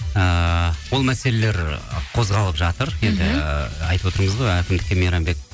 ыыы ол мәселелер қозғалып жатыр енді айтып отырмыз ғой әкімдікке мейрамбек